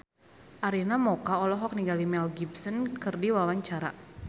Arina Mocca olohok ningali Mel Gibson keur diwawancara